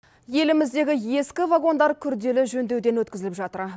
еліміздегі ескі вагондар күрделі жөндеуден өткізіліп жатыр